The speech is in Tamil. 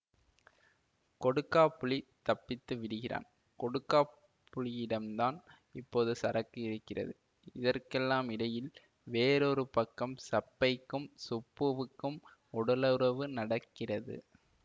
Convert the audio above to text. கொடுக்காப்புளி தப்பித்து விடுகிறான் கொடுக்காப்புளியிடம்தான் இப்போது சரக்கு இருக்கிறது இதற்கெல்லாம் இடையில் வேறொரு பக்கம் சப்பைக்கும் சுப்புவுக்கும் உடலுறவு நடக்கிறது